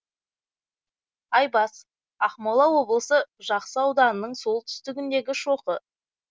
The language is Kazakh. айбас ақмола облысы жақсы ауданының солтүстігіндегі шоқы